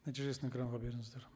нәтижесін экранға беріңіздер